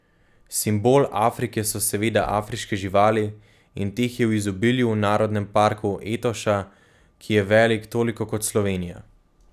Simbol Afrike so seveda afriške živali in teh je v izobilju v narodnem parku Etoša, ki je velik toliko kot Slovenija.